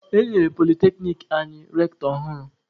E nyere polyteknic anyị rektọ ọhụrụ.